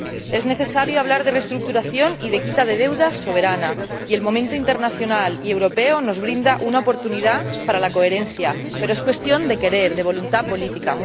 Es necesario hablar de reestructuración y de quita de deuda soberana, y el momento internacional y europeo nos brinda una oportunidad para la coherencia, pero es cuestión de querer, de voluntad política.